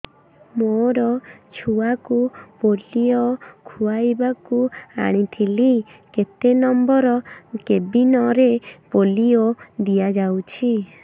ମୋର ଛୁଆକୁ ପୋଲିଓ ଖୁଆଇବାକୁ ଆଣିଥିଲି କେତେ ନମ୍ବର କେବିନ ରେ ପୋଲିଓ ଦିଆଯାଉଛି